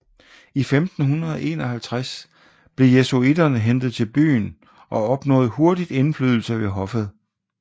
I 1551 blev jesuitterne hentet til byen og opnåede hurtigt indflydelse ved hoffet